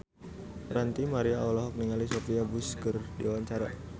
Ranty Maria olohok ningali Sophia Bush keur diwawancara